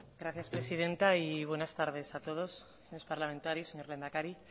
gracias presidenta y buenas tardes a todos señores parlamentarios señor lehendakari